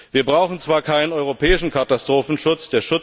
Wir brauchen zwar keinen europäischen Katastrophenschutz.